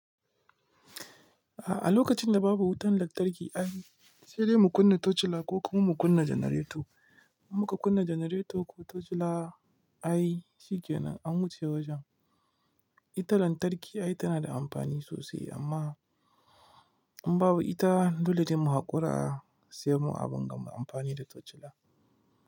A lokacin da babu wutan lantarki ai sai dai mu kunna tocila ko kuma mu kunna janareto. In muka kunna janareto ko tocila ai shi kenan an wuce wajen. Ita lantarki ai tana da amfani sosai amma in babu ita dole ne mu haƙura mu abin da mu amfani da tocila.